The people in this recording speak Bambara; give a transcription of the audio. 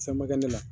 Samakɛ de la